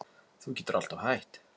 Þú getur alltaf hætt